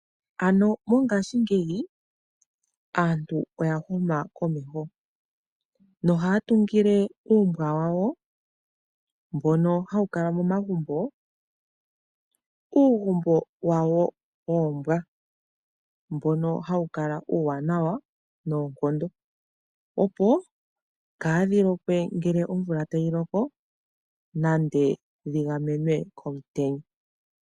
Ano mongaashingeyi aantu oya huma komeho, nohaya tungile uumbwa wawo mbono hawu kala momagumbo, uugumbo wawo woombwa, mbono hawu kala uuwanawa noonkondo, opo kaadhi lokwe ngele omvula tayi loko nenge dhi gamenwe komutenya.